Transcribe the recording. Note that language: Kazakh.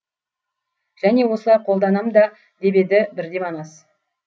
және осылай қолданам да деп еді бірде манас